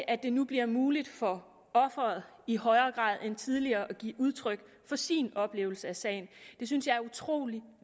at det nu bliver muligt for offeret i højere grad end tidligere at give udtryk for sin oplevelse af sagen det synes jeg er utrolig